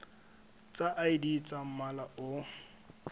tsa id tsa mmala o